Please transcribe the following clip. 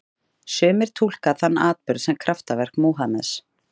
Sumir túlka þann atburð sem kraftaverk Múhameðs.